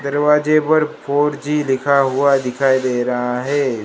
दरवाजे पर four G लिखा हुआ दिखाई दे रहा है।